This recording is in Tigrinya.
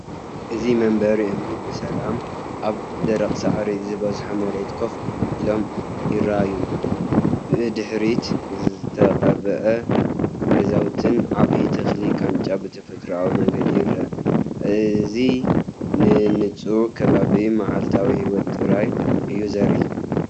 እዚ መንበር እምኒ ብሰላም ኣብ ደረቕ ሳዕሪ ዝበዝሖ መሬት ኮፍ ኢሎም ይረኣዩ። ብድሕሪት ዝተቐብኡ ገዛውትን ዓቢ ተኽሊ ቃንጫን ብተፈጥሮኣዊ መንገዲ ይረአ። እእዚ ንንጹርነት ከባብን መዓልታዊ ህይወትን ጥራይ እዩ ዘርኢ።